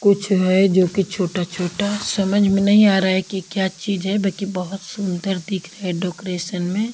कुछ है जो कि छोटा छोटा समझ में नहीं आ रहा है कि क्या चीज है बाकी बहोत सुंदर दिख रहे डोकरेसन मे।